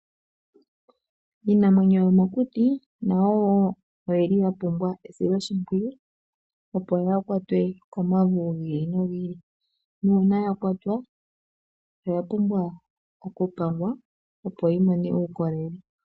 Iinamwenyo yomokuti nayo woo oyili yapumbwa esiloshipwiyu, opo yaakwatwe komauvu giili nogiili, nuuna yakwatwa oya pumbwa oku pangwa, opo yi mone uukolele.